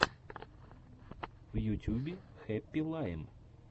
в ютюбе хэппи лайм